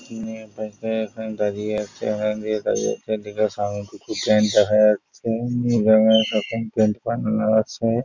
তিনি এখান থেকে এখানে দাড়িয়ে আছে এখান থেকে দাঁড়িয়ে আছে এদিকে সামনে দেখা যাচ্ছে